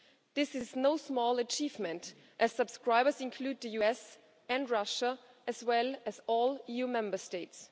This is no small achievement as subscribers include the US and Russia, as well as all EU Member States.